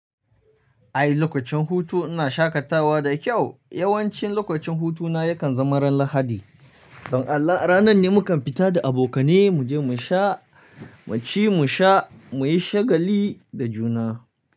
Ai lokacin hutu ina shakatawa da kyau. Yawanci lokacin hutuna yakan zama ran Lahadi. Don Allah ranan ne mukan fita da abokane, mu je mu sha, mu ci, mu sha, mu yi shagali da juna.